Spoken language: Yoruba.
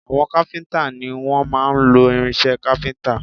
Àwọn kápíntà ni wọ́n máa ń lo irinsẹ́ kápíntà